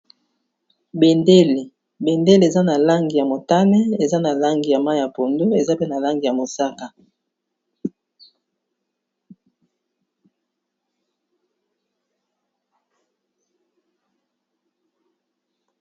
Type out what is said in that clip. Bendele, bendele eza n'a langi ya motane, eza na langi ya mayi ya pondu eza pe na langi ya mosaka.